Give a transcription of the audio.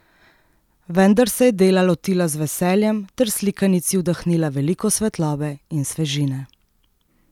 Vendar se je dela lotila z veseljem ter slikanici vdihnila veliko svetlobe in svežine.